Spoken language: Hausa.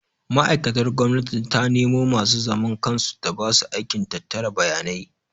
Ma'aikatar gwamnati ta nemo masu zaman kansu ta basu aikin tattara bayanai